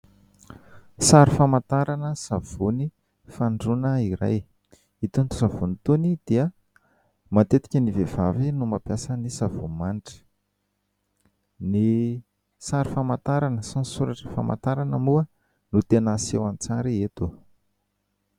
Sary famantarana savony fandrohana iray, itony savony itony dia matetika ny vehivavy no mampiasa ny savony manitra. Ny sary famantarana sy ny soratra famantarana moa no tena aseho an-tsary eto.